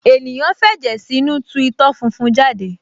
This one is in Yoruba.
ènìyàn f’ẹ̀jẹ̀ sínú tu itọ́ funfun jáde